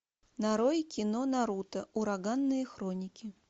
нарой кино наруто ураганные хроники